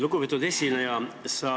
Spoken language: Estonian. Lugupeetud esineja!